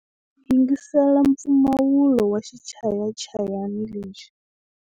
Yingisela mpfumawulo wa xichayachayani lexi.